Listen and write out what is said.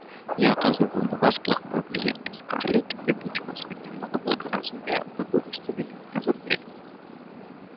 я оказываю на вас плохое влияние скарлетт и будь у вас хоть немножко благоразумия вы бы выставили меня за дверь